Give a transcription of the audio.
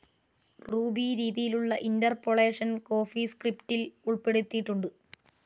Ruby രീതിയിലുള്ള interpolation കോഫീസ്ക്രിപ്റ്റിൽ ഉൾപ്പെടുത്തിയിട്ടുണ്ട്.